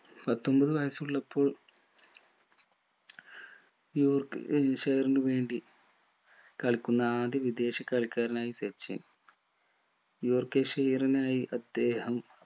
പത്തൊമ്പത് വയസ്സുള്ളപ്പോൾ യോർക്ക് എൻഷെയറിനു വേണ്ടി കളിക്കുന്ന ആദ്യ വിദേശ കളിക്കാരനായി സച്ചിൻ യോർക്ക് ഷെയറിനായി അദ്ദേഹം